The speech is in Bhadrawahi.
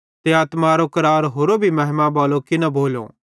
ते आत्मारो करार होरो भी महिमा बालो किना भोलो